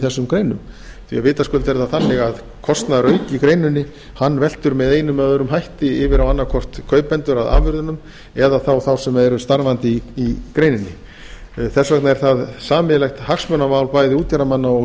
þessum greinum því að vitaskuld er það þannig að kostnaðarauki í greininni veltur með einum eð öðrum hætti yfir á annað hvort kaupendur að afurðunum eða þá sem eru starfandi í greininni þess vegna er það sameiginlegt hagsmunamál bæði útgerðarmanna og